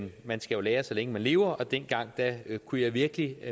man skal jo lære så længe man lever og dengang kunne jeg virkelig